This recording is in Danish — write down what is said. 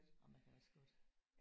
Og man kan også godt